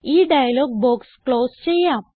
ഈ dialogue box close ചെയ്യാം